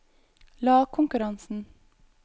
lagkonkurransen